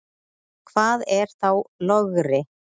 Hvað er þá logri?